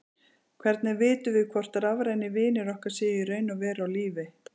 Hvernig vitum við hvort rafrænir vinir okkar séu í raun og veru á lífi?